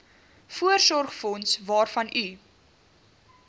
voorsorgsfonds waarvan u